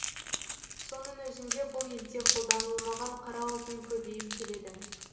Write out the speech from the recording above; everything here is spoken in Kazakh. соның өзінде бұл елде қолданылмаған қара алтын көбейіп келеді